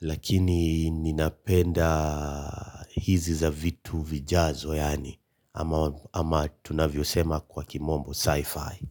lakini ninapenda hizi za vitu vijazo yaani ama tunavyo sema kwa kimombo sci-fi.